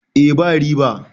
eh ba riba